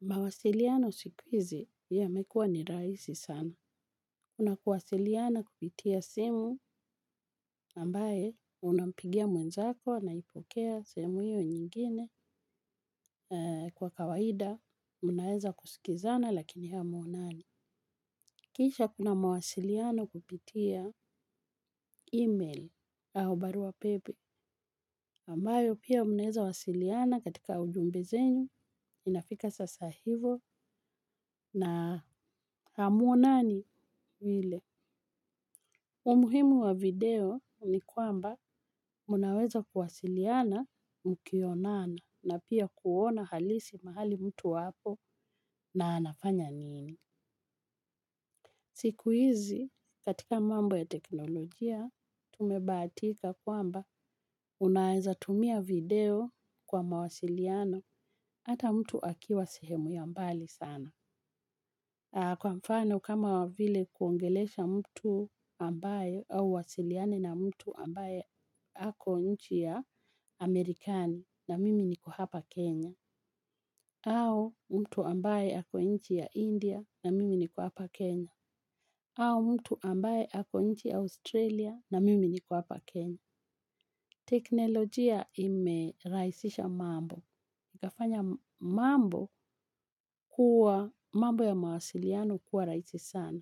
Mawasiliano siku hizi yamekuwa ni rahisi sana. Kuna kuwasiliana kupitia simu ambaye unampigia mwenzako anaipokea sehemu hio nyingine. Kwa kawaida mnaweza kusikizana lakini hamuonani. Kisha kuna mawasiliano kupitia email au barua pepe. Ambayo pia munaweza wasiliana katika ujumbe zenyu, inafika sasa hivo na hamuonani vile. Umuhimu wa video ni kwamba mnaweza kuwasiliana mkionana na pia kuona halisi mahali mtu apo na anafanya nini. Siku hizi katika mambo ya teknolojia tumebahatika kwamba unaweza tumia video kwa mawasiliano hata mtu akiwa sehemu ya mbali sana. Kwa mfano kama vile kuongelesha mtu ambaye au uwasiliane na mtu ambaye ako nchi ya Marekani na mimi niko hapa Kenya. Au mtu ambaye ako nchi ya India na mimi niko hapa Kenya au mtu ambaye ako nchi Australia na mimi niko hapa Kenya. Teknolojia imerahisisha mambo ikafanya mambo ya mawasiliano kuwa rahisi sana.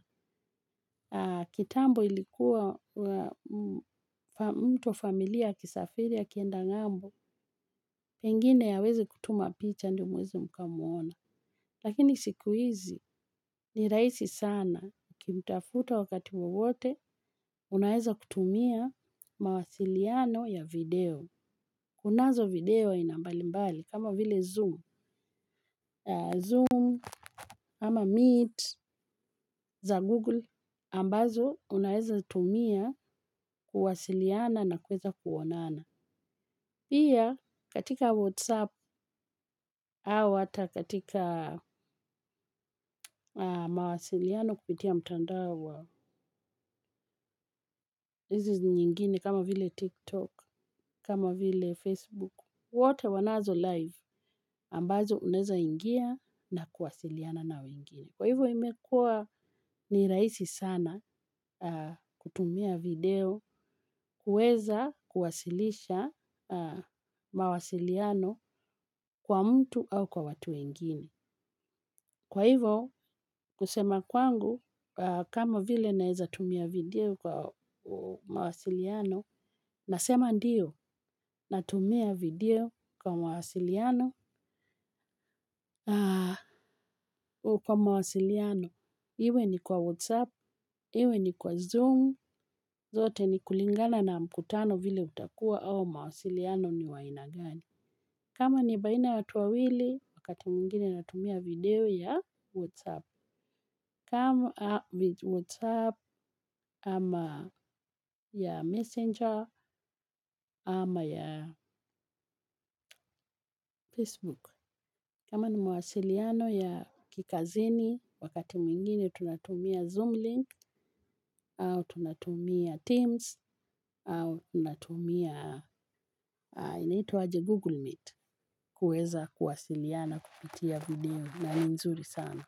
Kitambo ilikuwa mtu wa familia akisafiri akienda ngambo. Pengine aweze kutuma picha ndio muweze mkamuona. Lakini siku hizi ni rahisi sana, ukimtafuta wakati wowote unaweza kutumia mawasiliano ya video. Kunazo video ya aina mbali mbali kama vile zoom Zoom ama meet za google ambazo unaweza tumia kuwasiliana na kuweza kuonana. Pia katika whatsapp au hata katika mawasiliano kupitia mtandao wa nyingine kama vile tiktok, kama vile facebook. Wote wanazo live ambazo unaweza ingia na kuwasiliana na wengine. Kwa hivo imekua ni rahisi sana kutumia video, kuweza kuwasilisha mawasiliano kwa mtu au kwa watu wengine. Kwa hivyo, kusema kwangu, kama vile naweza tumia video kwa mawasiliano, nasema ndio, natumia video kwa mawasiliano. Kwa mawasiliano, iwe ni kwa WhatsApp, iwe ni kwa Zoom, zote ni kulingana na mkutano vile utakuwa au mawasiliano ni wa aina gani. Kama ni baina ya watu wawili, wakati mwingine natumia video ya WhatsApp, kama WhatsApp ama ya Messenger ama ya Facebook. Kama ni mwasiliano ya kikazini wakati mwingine tunatumia Zoomlink au tunatumia Teams au tunatumia inaitwo aje Google Meet kuweza kuwasiliana kupitia video na ni nzuri sana.